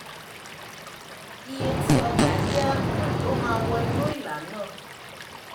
iye tí ọjà jẹ́ um ló máa wọ inú ìlà náà